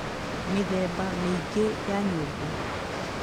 Mĩthemba mĩingĩ ya nyũngũ